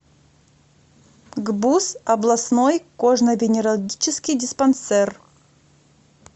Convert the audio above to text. гбуз областной кожно венерологический диспансер